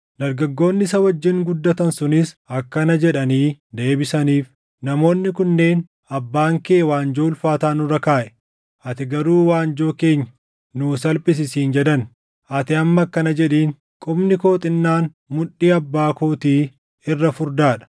Dargaggoonni isa wajjin guddatan sunis akkana jedhanii deebisaniif; “Namoonni kunneen, ‘Abbaan kee waanjoo ulfaataa nurra kaaʼe; ati garuu waanjoo keenya nuu salphisi’ siin jedhan; ati amma akkana jedhiin; ‘Qubni koo xinnaan mudhii abbaa kootii irra furdaa dha.